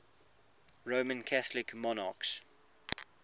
roman catholic monarchs